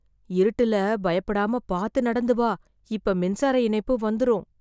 இருட்டுல பயப்படாம பார்த்து நடந்து வா. இப்ப மின்சார இணைப்பு வந்துரும்.